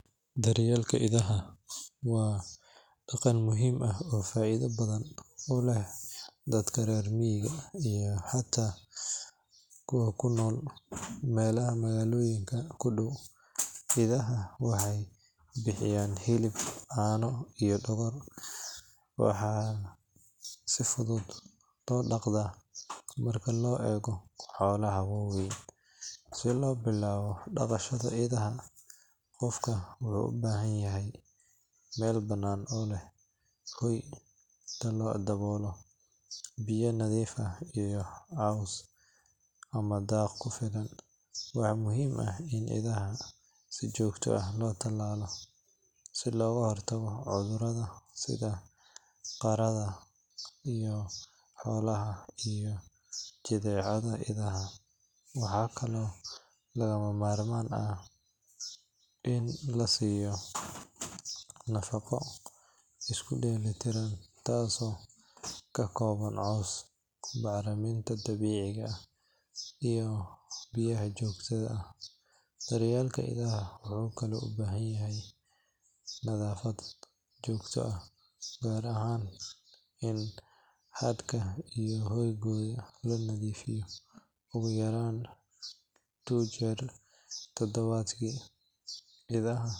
Daryeelka idaha waa dhaqan muhiim ah oo faa’iido badan u leh dadka reer miyiga iyo xataa kuwa ku nool meelaha magaalooyinka ku dhow. Idaha waxay bixiyaan hilib, caano iyo dhogor, waxaana si fudud loo dhaqdaa marka loo eego xoolaha waaweyn. Si loo bilaabo dhaqashada idaha, qofka wuxuu u baahan yahay meel bannaan oo leh hoy daboolan, biyaha nadiif ah, iyo caws ama daaq ku filan. Waxaa muhiim ah in idaha si joogto ah loo tallaalo si looga hortago cudurrada sida qaaxada xoolaha iyo jadeecada idaha. Waxaa kaloo lagama maarmaan ah in la siiyo nafaqo isku dheelitiran, taasoo ka kooban caws, bacriminta dabiiciga ah iyo biyaha joogtada ah. Daryeelka idaha wuxuu kaloo u baahan yahay nadaafad joogto ah, gaar ahaan in hadhka iyo hoygooda la nadiifiyo ugu yaraan two jeer toddobaadkii. Idaha.